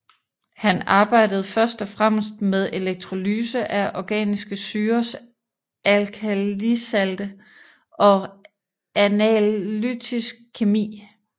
Han arbejdede først og fremmest med elektrolyse af organiske syrers alkalisalte og analytisk kemi